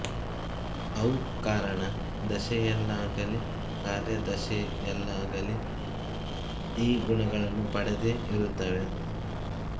ಅವು ಕಾರಣ ದೆಶೆಯಲ್ಲಾಗಲಿ ಕಾರ್ಯ ದೆಶೆಯಲ್ಲಾಗಲಿ ಈ ಗುಣಗಳನ್ನು ಪಡೆದೇ ಇರುತ್ತವೆ